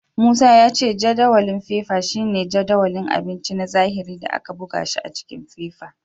Musa ya ce jadawalin fefa shine jadawalin abinci na zahiri da aka buga shi s jikin fefa.